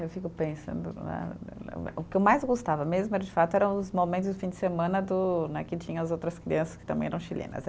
Eu fico pensando, né, eh o que eu mais gostava mesmo, era de fato, eram os momentos do fim de semana do né, que tinham as outras crianças que também eram chilenas, eh